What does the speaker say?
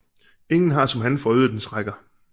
Ingen har som han forøget dens rækker